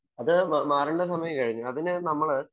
അത് മാറേണ്ട സമയം കഴിഞ്ഞു. അതിനു നമ്മള്